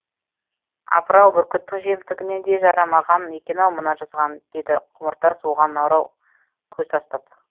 апырау бүркіттің жемтігіне де жарамаған екен ау мына жазған деді құмыртас оған нарау көз тастап